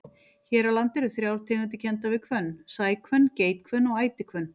Hér á landi eru þrjár tegundir kenndar við hvönn, sæhvönn, geithvönn og ætihvönn.